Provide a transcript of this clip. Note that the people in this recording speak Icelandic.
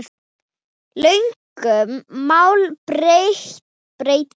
Lögum má breyta.